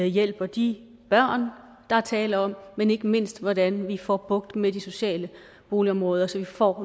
hjælper de børn der er tale om men ikke mindst hvordan vi får bugt med de sociale boligområder så vi får